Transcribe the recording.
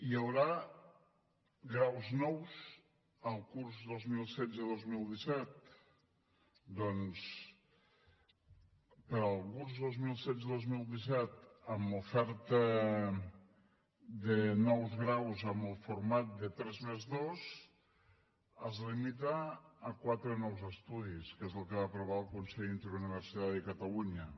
hi haurà graus nous el curs dos mil setze dos mil disset doncs per al curs dos mil setze dos mil disset l’oferta de nous graus amb el format de tres+dos es limita a quatre nous estudis que és el que va aprovar el consell interuniversitari de catalunya